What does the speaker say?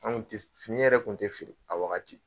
An kun tɛ fini yɛrɛ kun tɛ feere a wagati.